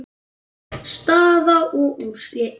Staða og úrslit.